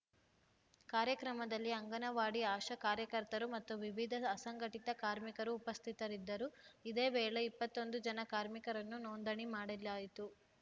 ಕಾರ್ಯಕ್ರಮದಲ್ಲಿ ಅಂಗನವಾಡಿಆಶಾ ಕಾರ್ಯಕರ್ತರು ಮತ್ತು ವಿವಿಧ ಅಸಂಘಟಿತ ಕಾರ್ಮಿಕರು ಉಪಸ್ಥಿತರಿದ್ದರು ಇದೇ ವೇಳೆ ಇಪ್ಪತ್ತೊಂದು ಜನ ಕಾರ್ಮಿಕರನ್ನು ನೋಂದಣಿ ಮಾಡಿಲಾಯಿತು